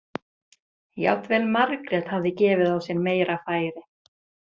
Jafnvel Margrét hafði gefið á sér meira færi.